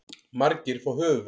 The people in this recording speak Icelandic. Margir fá höfuðverk.